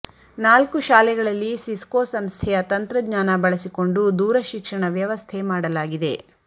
ನಾಲ್ಕು ಶಾಲೆಗಳಲ್ಲಿ ಸಿಸ್ಕೋ ಸಂಸ್ಥೆಯ ತಂತ್ರಜ್ಞಾನ ಬಳಸಿಕೊಂಡು ದೂರ ಶಿಕ್ಷಣ ವ್ಯವಸ್ಥೆ ಮಾಡಲಾಗಿದೆ